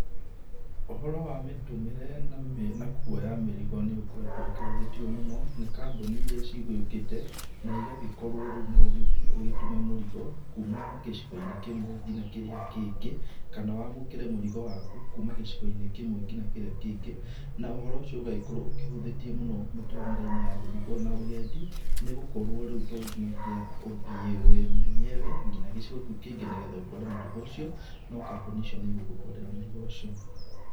Ũhoro wa mĩtũmĩre na na kuoya mĩrigo nĩ ũkoretwo gũkĩhũthĩtio mũno nĩ kambũni iria cigĩũkĩte na igagĩkorũo rĩu no ũgĩthiĩ ũgĩtũme mũrigo kuuma gĩcigo-inĩ kĩmwe nginya kĩrĩa kĩngĩ, kana wamũkĩre mũrigo waku kuuma gĩcigo-inĩ kĩmwe nginya kĩrĩa kĩngĩ, na ũhoro ũcio ũgagĩkorũo ũkĩhũthĩtie mũno mĩtũmĩre-inĩ ya mĩrigo na ũgendi, nĩgũkorũo rĩu tonginyagia ũthiĩ wĩ mwenyewe nginya gĩcigo kĩu kĩngĩ nĩ getha ũtware mũrigo ũcio, no kambũni icio nĩ igũgũtwarĩra mũrigo ũcio.